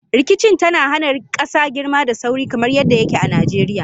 Rikicin tana hana kasa girma da sauri, kamar yadda yake a Najeriya.